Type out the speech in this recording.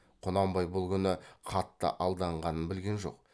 құнанбай бұл күні қатты алданғанын білген жоқ